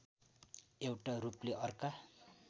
एउटा रूपले अर्का